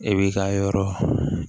E b'i ka yɔrɔ